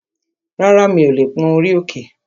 Rárá, mi ò lè pón orí òkè